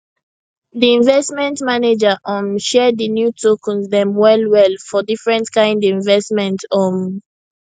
di investment manager um share di new tokens dem wellwell for different kind investment um